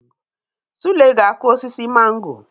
Sule ga-akụ osisi mango